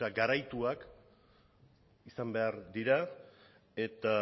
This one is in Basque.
garaituak izan behar dira eta